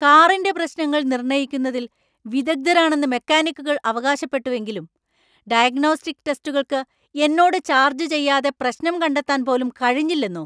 കാറിന്‍റെ പ്രശ്നങ്ങൾ നിർണ്ണയിക്കുന്നതിൽ വിദഗ്ധരാണെന്ന് മെക്കാനിക്കുകൾ അവകാശപ്പെട്ടുവെങ്കിലും 'ഡയഗ്നോസ്റ്റിക് ടെസ്റ്റുകൾക്ക്' എന്നോട് ചാർജ് ചെയ്യാതെ പ്രശ്നം കണ്ടെത്താൻ പോലും കഴിഞ്ഞില്ലന്നോ?